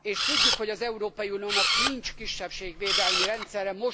és tudjuk, hogy az Európai Uniónak nincs kisebbségvédelmi rendszere.